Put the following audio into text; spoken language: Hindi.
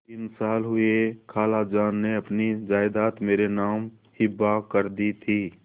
तीन साल हुए खालाजान ने अपनी जायदाद मेरे नाम हिब्बा कर दी थी